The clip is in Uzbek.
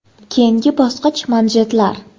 Keyingi bosqich manjetlar.